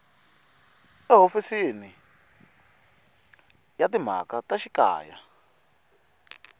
ehofisini ya timhaka ta xikaya